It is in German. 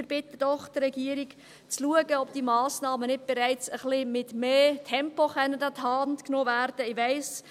Wir bitten die Regierung, doch zu schauen, ob diese Massnahmen nicht bereits mit ein wenig mehr Tempo an die Hand genommen werden können.